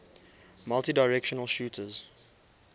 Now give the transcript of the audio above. multidirectional shooters